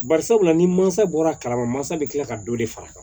Bari sabula ni mansa bɔra kalama mansa bɛ kila ka dɔ de far'a kan